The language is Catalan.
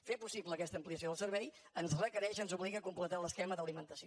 fer possible aquesta ampliació del servei ens requereix ens obliga a completar l’esquema d’alimentació